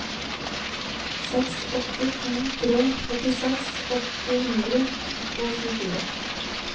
seks åtte to tre førtiseks åtte hundre og tjuefire